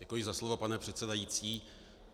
Děkuji za slovo, pane předsedající.